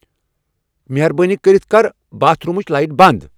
مہربٲنی کٔرِتھ کر باتھ رومچ لایٹ بند ۔